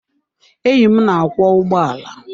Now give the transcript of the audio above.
Enyí m na-akwọ ụgbọala.